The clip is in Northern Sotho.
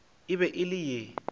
e be e le ye